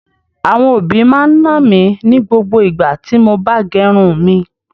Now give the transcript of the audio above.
Àwọn òbí máa ń nà mí ní gbogbo igbá tí mo bá gẹrun mi.